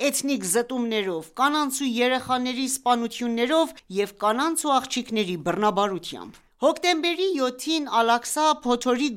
էթնիկ զտումներով, կանանց ու երեխաների սպանություններով և կանանց ու աղջիկների բռնաբարությամբ։ Հոկտեմբերի 7-ին մեկնարկած «Ալ Աղսայի փոթորիկ»